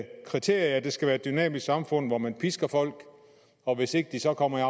kriterie at det skal være et dynamisk samfund hvor man pisker folk og hvis ikke de så kommer i